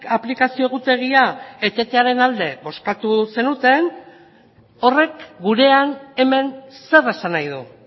aplikazio egutegia etetearen alde bozkatu zenuten horrek gurean hemen zer esan nahi du